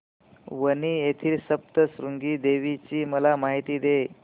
वणी येथील सप्तशृंगी देवी ची मला माहिती दे